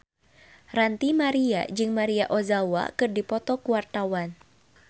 Ranty Maria jeung Maria Ozawa keur dipoto ku wartawan